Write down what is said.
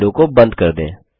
इस विंडो को बंद कर दें